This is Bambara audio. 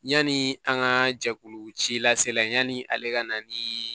Yani an ka jɛkulu ci la se la yanni ale ka na ni